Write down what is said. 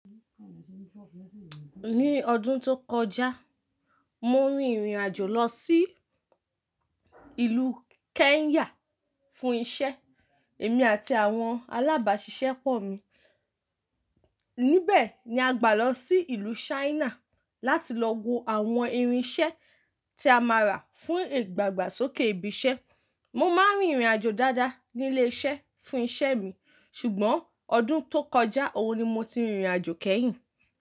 Ní ọdún tó kọjá, mọ rìn ìrìn àjò lọ sí ìlú Kenya fún isẹ́. Èmi àti àwọn alábàáṣiṣẹ́pọ̀ mi. Níbẹ̀ ni a gbà lọ sí ìlú China láti lọ wo àwọn irin iṣẹ́ tí a máa rà fún ìdàgbà sókè ibi isẹ́. Mo máa ń rìnirìn àjò dáadáa nílé iṣẹ́ fún isẹ́ mi, ṣùgbọ́n ọdún tó kọjá òun ni mo ti rìnrìn àjò kẹ́yìn.